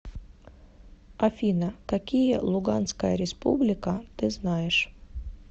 афина какие луганская республика ты знаешь